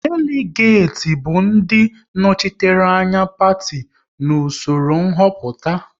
Deligati bụ ndị nnọchiteanya Parti n'usoro nhoputa